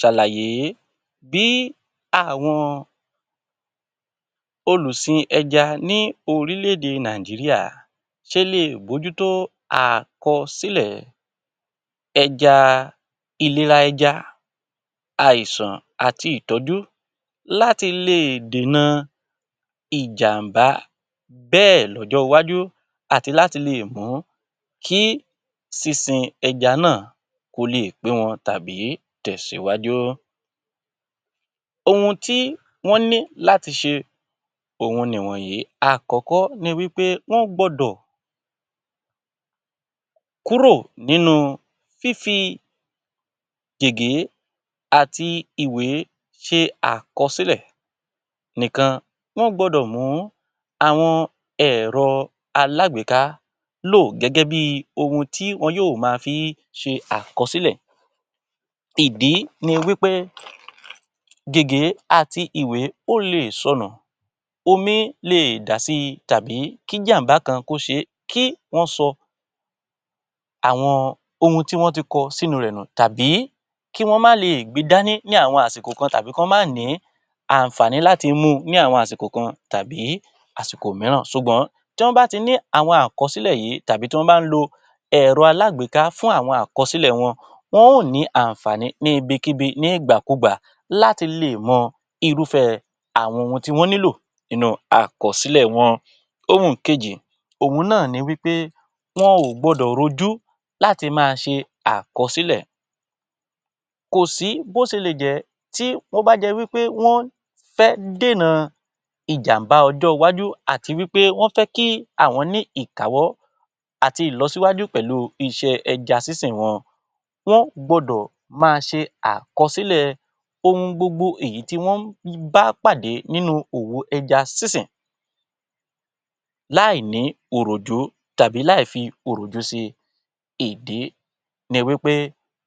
Ṣàlàyé bí àwọn olùsin ẹja ní orílẹ̀-èdè Nàìjíríà ṣe le bójútó àkọsílẹ̀ ẹja, ìlera ẹja, àìsàn àti ìtọ́jú láti lè dènà ìjàmbá bẹ́ẹ̀ lọ́jọ́ iwájú àti láti lè mú kí sísin ẹja náà kó lè pé wọn tàbí tẹ̀síwájú. Ohun tí wọ́n ní láti ṣe ohun ni wọ̀nyí: Àkọ́kọ́ ni wí pé wọ́n gbọ́dọ̀ kúrò nínú fífi gègé àti ìwé ṣe àkọsílẹ̀ níkà. Wọ́n gbọ́dọ̀ mú àwọn ẹ̀rọ alágbèéká lò gẹ́gẹ́ bí ohun tí wọ́n yóò máa fí ṣe àkọsílẹ̀. Ìdí ni wí pé gègé àti ìwé ó lè sọnù, omi lè dà si, tàbí kí jàm̀bá kan kó ṣe é kí wọ́n sọ ohun tí wọ́n ti kọ sínú rẹ̀ nù, tàbí kí wọ́n máa lè gbe dání ní àwọn àsìkò kan, tàbí kí wọ́n máa ní àǹfààní láti mu ní àwọn àsìkò kọ̀ọ̀kan tàbí àsìkò mìíràn. Ṣùgbọ́n tí wọ́n bá ti ní àwọn àkọsílẹ̀ yìí tàbí tí wọ́n bá ń lo ẹ̀rọ alágbèéká fún àwọn àkọsílẹ̀ wọn, wọn ó nì í àǹfààní ní ibikíbi ní ìgbàkugbà láti lè mọ irúfẹ́ àwọn ohun tí wọ́n nílò nínú àkọsílẹ̀ wọn. Ohun kejì, òhun náà ni wí pé wọn ò gbọ́dọ̀ rojú láti máa ṣe àkọsílẹ̀. Kò sí bó ṣe lè jẹ́ tí ó bá jẹ́ wí pé wọ́n fẹ́ dènà ìjàmbá ọjọ́ iwájú àti wí pé wọ́n fẹ́ kí àwọn ní ìkáwọ́ àti ìlọsíwájú pẹ̀lú iṣẹ́ ẹja sísìn wọn. Wọ́n gbọ́dọ̀ máa ṣe àkọsílẹ̀ ohun gbogbo èyí tí wọ́n ń bá pàdé nínú òwo ẹja sísìn láì ní òròjú tàbí láì fi òròjú si. Ìdí ni wí pé